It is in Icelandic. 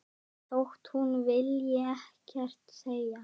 Þótt hún vilji ekkert segja.